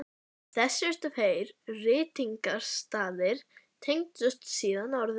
Þessir tveir ritningarstaðir tengdust síðan orðum